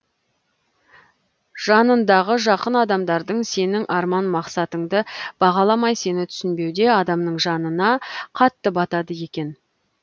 жаныңдағы жақын адамдарың сенің арман мақсаттыңды бағаламай сені түсінбеуде адамның жанына қатты батады екен